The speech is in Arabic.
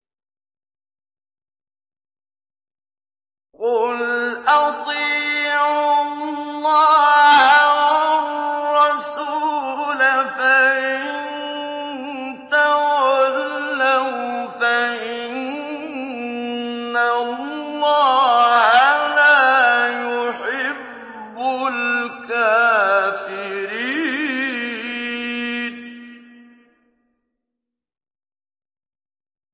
قُلْ أَطِيعُوا اللَّهَ وَالرَّسُولَ ۖ فَإِن تَوَلَّوْا فَإِنَّ اللَّهَ لَا يُحِبُّ الْكَافِرِينَ